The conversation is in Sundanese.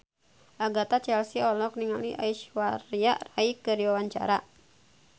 Agatha Chelsea olohok ningali Aishwarya Rai keur diwawancara